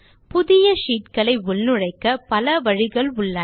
புதிய ஷீட்களை உள்நுழைக்க பல வழிகள் உள்ளன